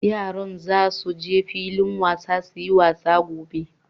Yaran za su je filin wasa su yi wasa gobe.